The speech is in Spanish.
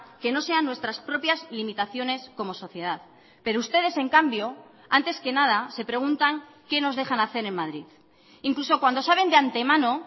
que no sean nuestras propias limitaciones como sociedad pero ustedes en cambio antes que nada se preguntan qué nos dejan hacer en madrid incluso cuando saben de antemano